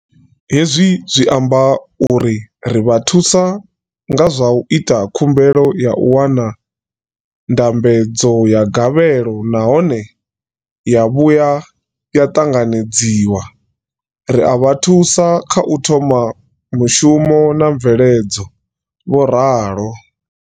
Hezwi zwi amba uri ri vha thusa nga zwa u ita khumbelo ya u wana ndambedzo ya gavhelo nahone ya vhuya ya ṱanganedzwa, ri a vha thusa kha u thoma mushumo na mveledzo, vho ralo.